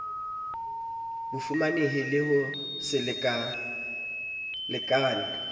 bofumanehi le ho se lekalekane